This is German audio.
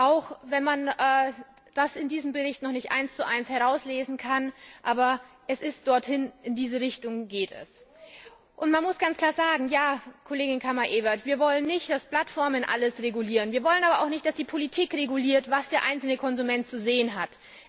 Auch wenn man das in diesem Bericht noch nicht 11 herauslesen kann, aber er geht in diese Richtung. Man muss ganz klar sagen, Kollegin Kammerevert, wir wollen nicht, dass Plattformen alles regulieren, wir wollen aber auch nicht, dass die Politik reguliert, was der einzelne Konsument zu sehen hat.